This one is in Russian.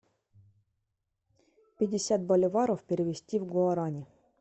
пятьдесят боливаров перевести в гуарани